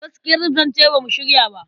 Gaskiyar zance ba mu shirya ba..